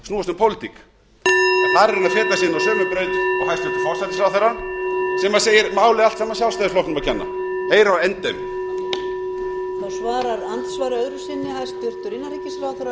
snúast um pólitík þar er hann að feta sig inn á sömu braut og hæstvirtur forsætisráðherra sem segir málið allt sjálfstæðisflokknum að kenna heyr á endemin